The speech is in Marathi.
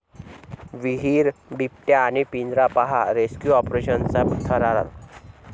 विहीर, बिबट्या आणि पिंजरा...पाहा रेस्क्यू ऑपरेशनचा थरार